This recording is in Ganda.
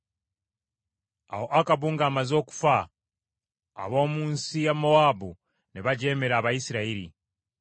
Awo Akabu ng’amaze okufa, ab’omu nsi ya Mowaabu ne bajeemera Abayisirayiri.